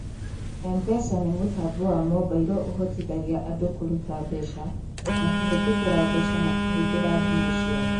M-Pesa nĩ mũtambo wa mobailo ũhotithagia andũ kũruta mbeca na kũhĩtũkĩra mbeca makĩhũthĩra thimũ ciao.